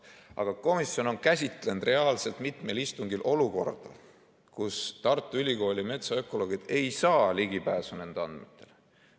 Aga komisjon on käsitlenud reaalselt mitmel istungil olukorda, kus Tartu Ülikooli metsaökoloogid ei saa ligipääsu nendele andmetele.